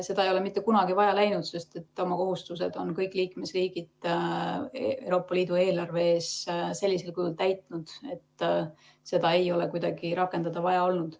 Seda ei ole mitte kunagi vaja läinud, sest oma kohustused on kõik liikmesriigid Euroopa Liidu eelarve ees täitnud sellisel kujul, et seda ei ole kunagi vaja rakendada olnud.